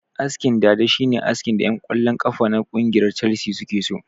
Askin dada shine askin da ƴan kwallon kafa na kungiyar calsi suke so